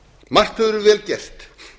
margt hefur verið vel gert